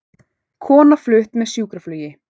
Kona flutt með sjúkraflugi